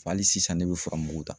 Wa ali sisan ne bɛ furamugu ta.